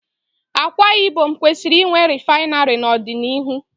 Akwa Ibom kwesịrị inwe rịfinarị n'ọdịnihu.